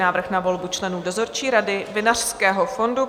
Návrh na volbu členů dozorčí rady Vinařského fondu